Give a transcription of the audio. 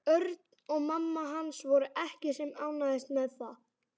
Örn og mamma hans voru ekki sem ánægðust með það.